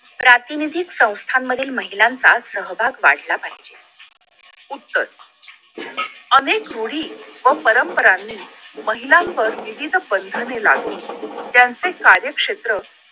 प्रातिनिधिक संस्थांमधील महिलांचा सहभाग वाढला पाहिजे उत्तर अनेक रूढी व परंपरांनी महिलावर विविध बंधने लागू होतील त्यांचे कार्यक्षेत्र